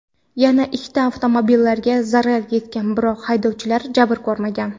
Yana ikkita avtomobilga zarar yetgan, biroq haydovchilar jabr ko‘rmagan.